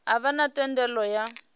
a vha na thendelo ya